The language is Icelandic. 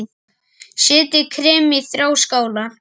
Setjið kremið í þrjár skálar.